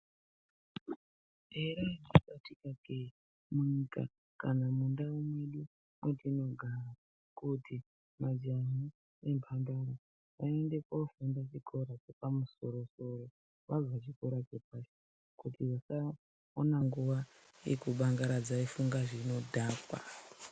Here atikakee munyika kana mundau mwedu mwetinogara kuti majaha nembandara aende kuofunda chikora chepamusoro-soro, vabva kuchikora chepashi kuti vasaona nguwa yeku bangaradza eifunga zvinodhaka.